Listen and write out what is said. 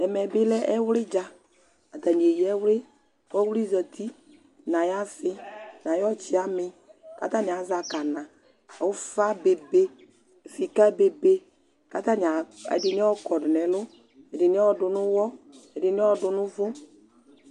Ɛmɛ bɩ lɛ ɛwlɩ dza Atanɩ eyǝ ɛwlɩ kʋ ɔwlɩ zati nʋ ayʋ asɩ nʋ ayʋ tsamɩ kʋ atanɩ azɛ akana Ʋfa bebe, sɩka bebe, kʋ atanɩ ɛdɩnɩ ayɔ kɔdʋ nʋ ɛlʋ, ɛdɩnɩ ayɔ dʋ nʋ ʋɣɔ, ɛdɩnɩ ayɔ dʋ nʋ ʋvʋ